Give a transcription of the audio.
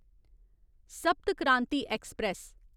सप्त क्रांति ऐक्सप्रैस